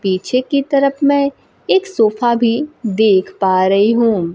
पीछे की तरफ मै एक सोफा भी देख पा रही हूं।